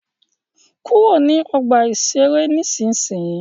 Kúrò ní ọgbà-ìṣeré nísinsìnyí!